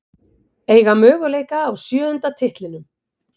Eiga möguleika á sjöunda titlinum